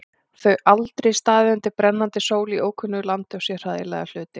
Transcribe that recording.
Þau aldrei staðið undir brennandi sól í ókunnu landi og séð hræðilega hluti.